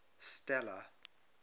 stella